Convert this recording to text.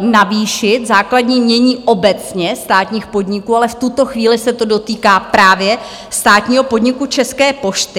navýšit základní jmění obecně státních podniků, ale v tuto chvíli se to dotýká právě státního podniku České pošty.